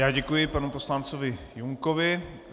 Já děkuji panu poslancovi Junkovi.